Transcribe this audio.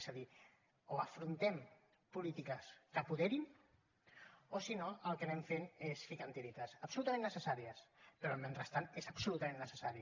és a dir o afrontem polítiques que apoderin o si no el que anem fent és ficant hi tiretes absolutament necessàries però el mentrestant és absolutament necessari